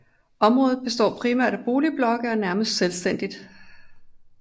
Området består primært af boligblokke og er nærmest selvstændigt